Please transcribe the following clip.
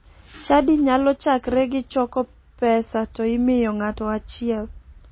Chadi nyalo chakre gi choko pesa to imiyo ng'ato achiel